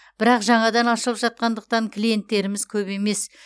бірақ жаңадан ашылып жатқандықтан клиенттеріміз көп емес